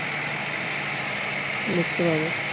দেখতে পাবো.